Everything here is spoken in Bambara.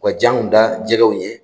U ka janw da jɛgɛw ɲɛ.